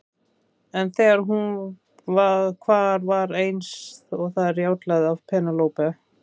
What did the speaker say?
En þegar hún hvar var eins og það rjátlaði af Penélope.